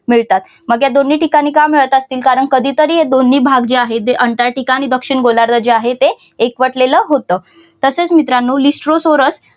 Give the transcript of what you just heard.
मिळतात मग या दोन्ही ठिकाणी का मिळत असतील कारण कधीतरी हे दोन्ही भाग जे आहे ते अंटार्क्टिका आणि दक्षिण गोलार्ध जे आहे ते एकवटलेलं होतं तसेच मित्रांनो इस्रो चौरस